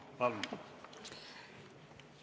Palun!